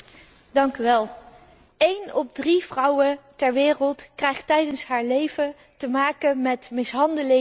Eén op drie vrouwen ter wereld krijgt tijdens haar leven te maken met mishandeling of met verkrachting.